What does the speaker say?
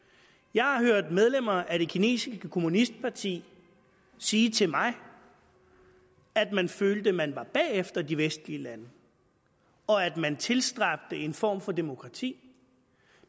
jeg har hørt medlemmer af det kinesiske kommunistparti sige til mig at man følte at man var bagefter de vestlige lande og at man tilstræbte en form for demokrati